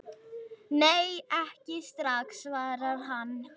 Nei, ekki strax, svarar hann.